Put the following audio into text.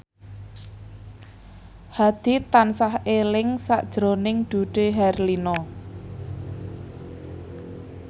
Hadi tansah eling sakjroning Dude Herlino